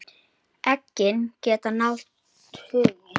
Eggin geta náð tugi.